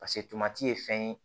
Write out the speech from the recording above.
ye fɛn ye